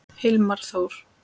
Hilmar Þór.